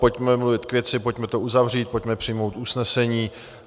Pojďme mluvit k věci, pojďme to uzavřít, pojďme přijmout usnesení.